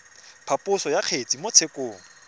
phaposo ya kgetse mo tshekong